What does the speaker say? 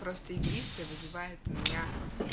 просто игристый вызывает меня